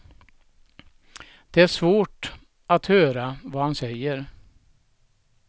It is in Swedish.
Det är svårt att höra vad han säger.